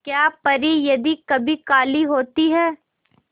क्या परी यदि कभी काली होती है